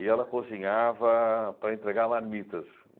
E ela cozinhava para entregar marmitas.